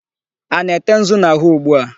A na-ete nzu na'ahú ugbu a?